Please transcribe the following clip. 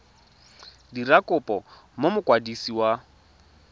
dira kopo go mokwadisi wa